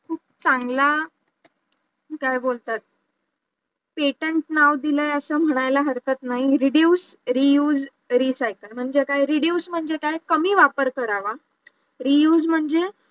चांगला, काय बोलतात petant नाव दिलाय असं म्हणायला हरकत नाही reduce reuse recycle म्हणजे काय reduce म्हणजे काय कमी वापर करावा reuse म्हणजे